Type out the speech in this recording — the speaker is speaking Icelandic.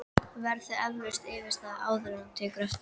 Verður eflaust yfirstaðið, áður en þú tekur eftir?!